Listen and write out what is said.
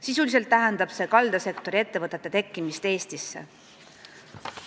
Sisuliselt tähendab see kaldasektori ettevõtete tekkimist Eestisse.